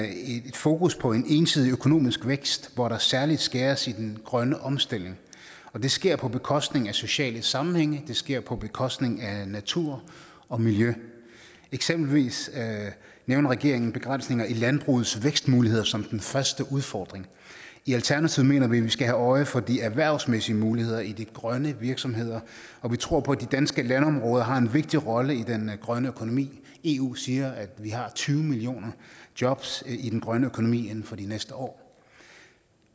fokus på en ensidig økonomisk vækst hvor der særlig skæres i den grønne omstilling det sker på bekostning af sociale sammenhænge det sker på bekostning af natur og miljø eksempelvis nævner regeringen begrænsninger af landbrugets vækstmuligheder som den første udfordring i alternativet mener vi at vi skal have øje for de erhvervsmæssige muligheder i de grønne virksomheder og vi tror på at de danske landområder har en vigtig rolle i den grønne økonomi eu siger at vi har tyve millioner job i den grønne økonomi inden for de næste år